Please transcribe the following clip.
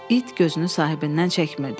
İt gözünü sahibindən çəkmirdi.